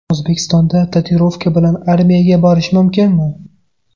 O‘zbekistonda tatuirovka bilan armiyaga borish mumkinmi?.